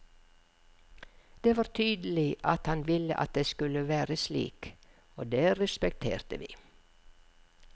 Det var tydelig at han ville at det skulle være slik, og det respekterte vi.